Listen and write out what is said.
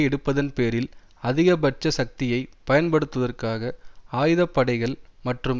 எடுப்பதன் பேரில் அதிகபட்ச சக்தியை பயன்படுத்துவதற்காக ஆயுத படைகள் மற்றும்